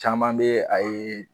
Caman bɛ a ye